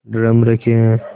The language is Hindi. ड्रम रखे हैं